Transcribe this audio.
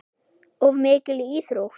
Of mikil íþrótt.